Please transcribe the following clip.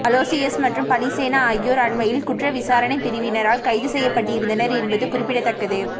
Aloysius மற்றும் பலிசேன ஆகியோர் அண்மையில் குற்ற விசாரணைப்பிரிவினரால் கைது செய்யப்பட்டிருந்தனர் என்பது குறிப்பிடத்தக்கது